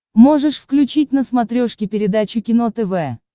можешь включить на смотрешке передачу кино тв